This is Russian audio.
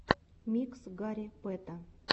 микс гарри пэта